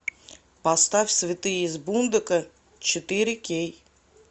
поставь святые из бундока четыре кей